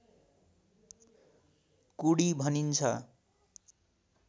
कुडी भनिन्छ